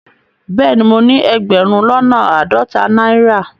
Bẹẹni, mọ ni ẹgbérùn lọ́nà aádọ́tà naira.